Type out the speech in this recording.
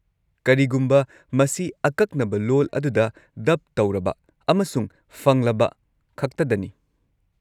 ꯀꯔꯤꯒꯨꯝꯕ ꯃꯁꯤ ꯑꯀꯛꯅꯕ ꯂꯣꯜ ꯑꯗꯨꯗ ꯗꯕ ꯇꯧꯔꯕ ꯑꯃꯁꯨꯡ ꯐꯪꯂꯕꯈꯛꯇꯗꯅꯤ꯫